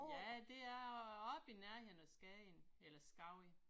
Ja det er oppe i nærheden af Skagen eller Skagen